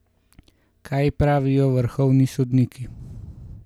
Kaj pravijo vrhovni sodniki?